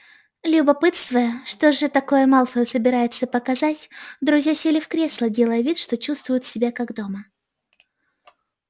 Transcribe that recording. любопытствуя что же такое малфой собирается показать друзья сели в кресла делая вид что чувствуют себя как дома